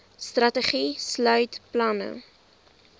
strategie sluit planne